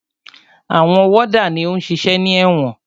Àwọn wọ́dà ni ó ń ṣiṣẹ́ ní ẹ̀wọ̀n.